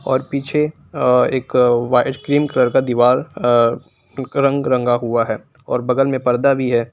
और पीछे अ एक वाइट क्रीम कलर का दिवार अ रंग रंगा हुआ है और बगल मे पर्दा भी है।